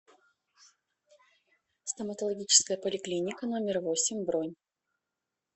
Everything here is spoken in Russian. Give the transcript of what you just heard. стоматологическая поликлиника номер восемь бронь